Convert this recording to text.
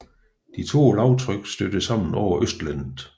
De to lavtryk stødte sammen over Østlandet